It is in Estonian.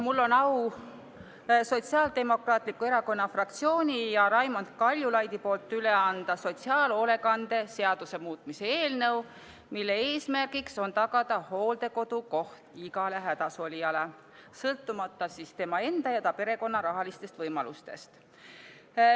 Mul on au Sotsiaaldemokraatliku Erakonna fraktsiooni ja Raimond Kaljulaidi nimel üle anda sotsiaalhoolekande seaduse muutmise eelnõu, mille eesmärk on tagada hooldekodukoht igale hädasolijale sõltumata tema enda ja ta perekonna rahalistest võimalustest.